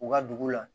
U ka dugu la